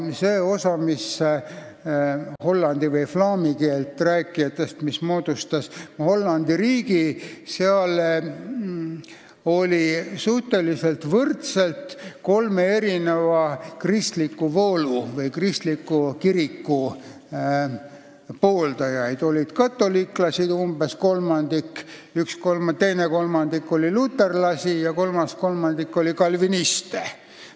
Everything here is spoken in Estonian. Selle osa hollandi või flaami keelt rääkijate hulgas, kes moodustasid Hollandi riigi, oli suhteliselt võrdselt kolme kristliku voolu või kristliku kiriku pooldajaid: kolmandik olid katoliiklased, teine kolmandik olid luterlased ja kolmas kolmandik olid kalvinistid.